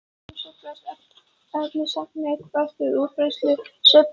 Í þeim sveiflast efnisagnirnar þvert á útbreiðslustefnuna svipað og ljós.